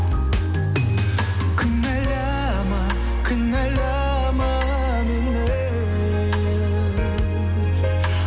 кінәләма кінәлама мені